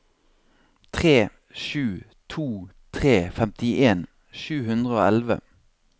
tre sju to tre femtien sju hundre og elleve